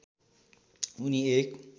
उनी एक